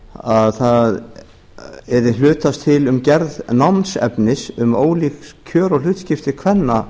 að það yrði hlutast til um gerð námsefnis um ólík kjör og hlutskipti kvenna